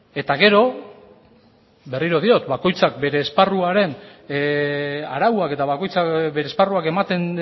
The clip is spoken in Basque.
eta gero berriro diot bakoitzak bere esparruaren arauak eta bakoitzak bere esparruak ematen